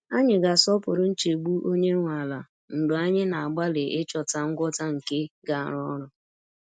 Anyị ga-asọpụrụ nchegbu onye nwe ala mgbe anyị na-agbalị ịchọta ngwọta nke ga-arụ ọrụ.